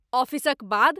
ऑफिसक बाद?